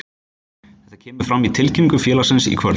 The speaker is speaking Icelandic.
Þetta kemur fram í tilkynningu félagsins í kvöld.